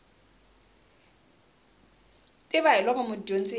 tiva hi loko mudyondzi a